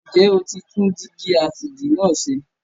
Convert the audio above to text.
Ǹjẹ́ o ti tún dígí asìjì náà ṣe?